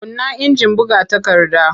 Kunna injin buga takardar!